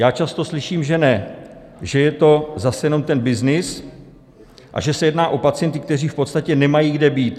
Já často slyším, že ne, že je to zase jenom ten byznys a že se jedná o pacienty, kteří v podstatě nemají kde být.